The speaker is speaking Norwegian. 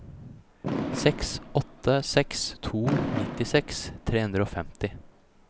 seks åtte seks to nittiseks tre hundre og femti